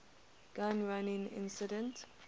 gun running incident